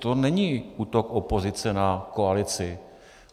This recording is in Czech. To není útok opozice na koalici.